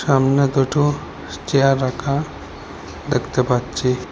সামনে দুটো চেয়ার রাখা দেখতে পাচ্ছি।